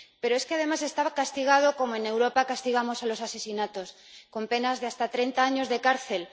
Pero es que además estaba castigado como en Europa castigamos los asesinatos, con penas de hasta treinta años de cárcel.